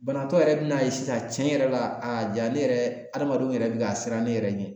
Banabaatɔ yɛrɛ bin'a ye sisan cɛn yɛrɛ la, a ja ne yɛrɛ adamadenw yɛrɛ bi ka siran ne yɛrɛ ɲɛ